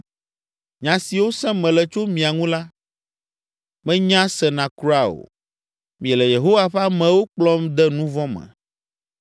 Nya siwo sem mele tso mia ŋu la, menya sena kura o. Miele Yehowa ƒe amewo kplɔm de nu vɔ̃ me.